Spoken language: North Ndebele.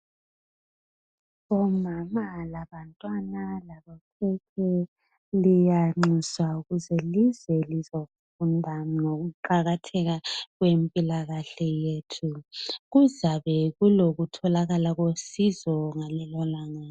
Omama labantwana labokhekhe liyanqusa ukuze lize lizofunda ngokuqakatheka kwempila kahle yethu kuzabe kulokutholakala kosizo ngalelo langa